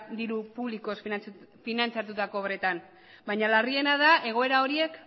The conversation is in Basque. diru publikoz finantzatutako obretan baina larriena da egoera horiek